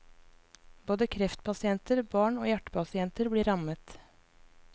Både kreftpasienter, barn og hjertepasienter blir rammet.